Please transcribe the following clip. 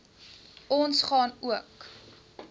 ons gaan ook